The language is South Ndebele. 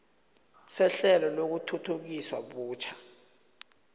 sehlelo lokuthuthukiswa butjha